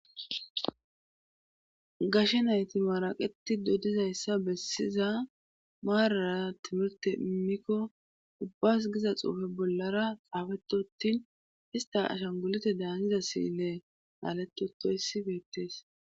gashe nayti maaraqeti dodizayssa bessiza maarara timirte imikko ubbas giza xuufe bollara xaafetottin ista ashan gulute daangiza siile aalettotoyssi beettees